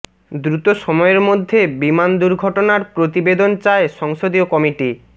দ্রুত সময়ের মধ্যে বিমান দুর্ঘটনার প্রতিবেদন চায় সংসদীয় কমিটি